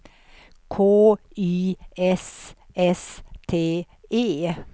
K Y S S T E